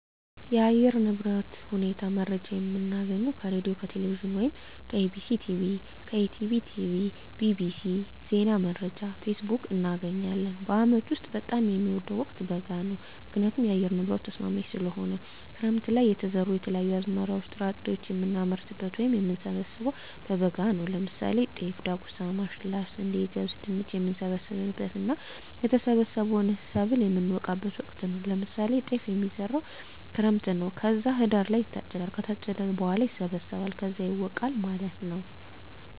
የአየር ንብረት ሁኔታ መረጃ የምናገኘው ከሬድዬ፣ ከቴሌቪዥን ወይም ከEBctv፣ ከETB tv፣ bbc፣ ዜና መረጃ፣ ፌስቡክ፣ እናገኛለን። በአመት ውስጥ በጣም የምወደው ወቅት በጋ ነው ምክንያቱም የአየር ንብረቱ ተስማሚ ስለሆነ፣ ክረምት ለይ የተዘሩ የተለያዩ አዝመራዎች ጥራጥሬዎችን የምናመርትበት ወይም የምንሰብበው በበጋ ነው ለምሳሌ ጤፍ፣ ዳጉሳ፣ ማሽላ፣ ስንዴ፣ ገብስ፣ ድንች፣ የምንሰበስብበት እና የሰበሰብነውን ሰብል የምነወቃበት ወቅት ነው ለምሳሌ ጤፍ የሚዘራው ክረምት ነው ከዛ ህዳር ላይ ይታጨዳል ከታጨደ በኋላ ይሰበሰባል ከዛ ይወቃል ማለት ነው።